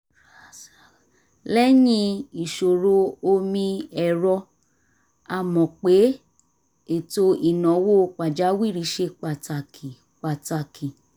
lẹ́yìn ìṣòro omi-ẹ̀rọ a mọ̀ pé ètò ìnáwó pàjáwìrì ṣe pàtàkì pàtàkì